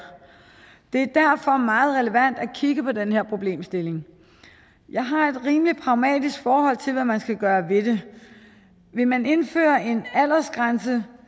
det er derfor meget relevant at kigge på den her problemstilling jeg har et rimelig pragmatisk forhold til hvad man skal gøre ved det vil man indføre en aldersgrænse